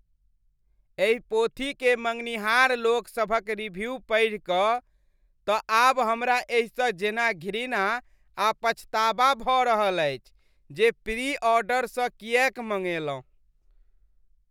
एहि पोथीकेँ मँगनिहार लोकसभक रिव्यू पढ़ि कऽ तँ आब हमरा एहिसँ जेना घृणा आ पछताबा भऽ रहल अछि जे प्री ऑर्डरसँ किएक मंगेलहुँ ।